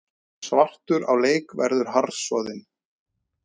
Svartur á leik verður harðsoðin